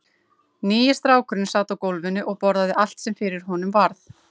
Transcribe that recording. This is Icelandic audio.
Nýi strákurinn sat á gólfinu og borðaði allt sem fyrir honum varð.